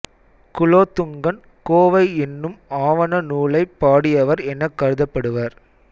குலோத்துங்கன் கோவை என்னும் ஆவண நூலைப் பாடியவர் எனக் கருதப்படுபவர்